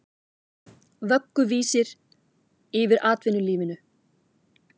Vögguvísur yfir atvinnulífinu